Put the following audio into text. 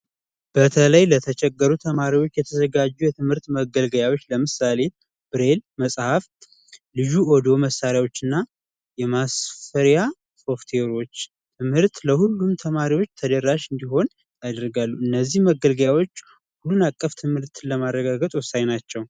በተለይ ለተቸገሩ ተማሪዎች የተዘጋጁ የትምህርት መገልገያዎች ለምሳሌ ብሬል፣ መፅሀፍት ፣ልዩ የሆኑ መሳሪያዎች እና የማስፈራሪያ ሶፍትዌሮች ትምህርት ለሁሉም ተደረሽ እንዲሆን ያደርጋሉ። እነዚህ መገልገያዎች ሁሉን አቅፍ ትምህርትን ለማረጋገጥ ወሳኝ ናቸው።